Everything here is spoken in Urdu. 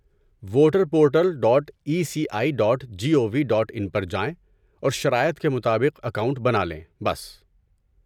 voter portal dot E C I dot G O V dot in پر جائیں اور شرائط کے مطابق اکاؤنٹ بنا لیں بس